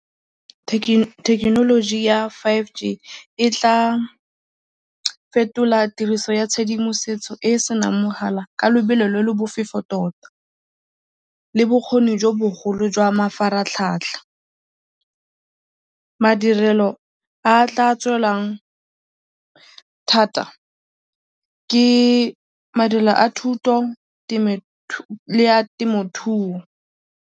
Technology ya five G e tla fetola tiriso ya tshedimosetso e e senang mogala ka lebelo le le bofefo tota le bokgoni jo bogolo jwa mafaratlhatlha. Madirelo a a tla tswelwang thata ke madirelo a thuto le a temothuo.